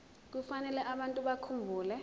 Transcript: kufanele abantu bakhumbule